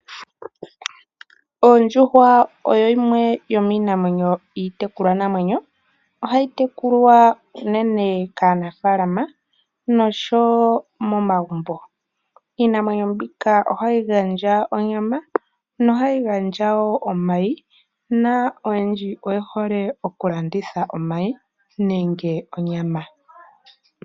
Ondjuhwa oyo yimwe yomiinamwenyo iitekulwa namwenyo uunene kaanafalama noshowo momagumbo, iinamwenyo mbika ohati gandja onyama no hayi gandja woo omayi, naa oyendji oye hole okulanditha omayi nenge onyama.